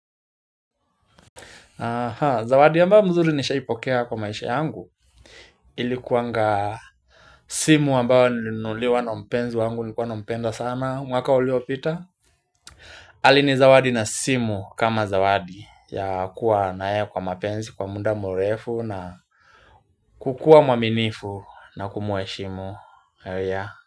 Zawadi ambayo nzuri nishaipokea kwa maisha yangu. Ilikuanga simu ambayo nilimunuliwa na mpenzi wangu nilikuwa nampenda sana mwaka uliopita. Alinizawadi na simu kama zawadi ya kuwa na yeye kwa mapenzi kwa muda mrefu na kukua mwaminifu na kumuheshimu.